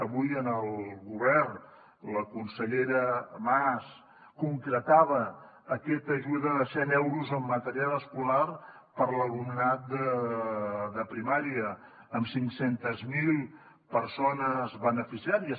avui en el govern la consellera mas concretava aquesta ajuda de cent euros en material escolar per a l’alumnat de primària amb cinc cents miler persones beneficiàries